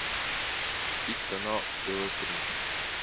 включить канал тв три